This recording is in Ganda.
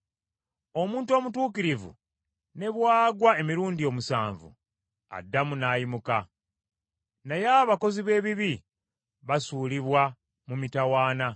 Omuntu omutuukirivu ne bw’agwa emirundi omusanvu, addamu n’ayimuka, naye abakozi b’ebibi basuulibwa mu mitawaana.